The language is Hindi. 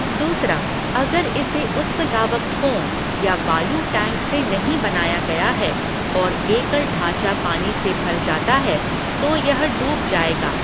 दूसरा, अगर इसे उत्प्लावक फ़ोम या वायु टैंक से नहीं बनाया गया है, और एकल ढाँचा पानी से भर जाता है, तो यह डूब जाएगा।